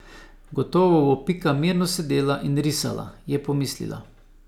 Gotovo bo Pika mirno sedela in risala, je pomislila.